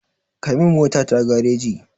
Kai min motata gareji.